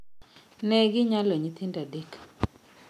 Neginyalo nyithindo adek